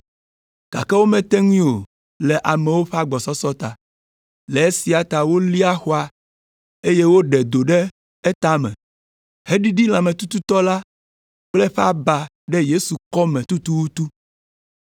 gake womete ŋui o le amewo ƒe agbɔsɔsɔ ta. Le esia ta wolia xɔa, eye woɖe do ɖe etame, heɖiɖi lãmetututɔ la kple eƒe aba ɖe Yesu kɔme tututu.